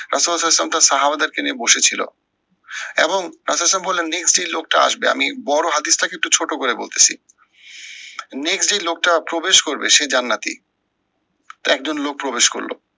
ওদেরকে নিয়ে বসেছিল এবং লোকটা আসবে আমি বড় হাদিসটাকে একটু ছোট করে বলতেছি। next যে লোকটা প্রবেশ করবে সে জান্নাতি। তো একজন লোক প্রবেশ করলো।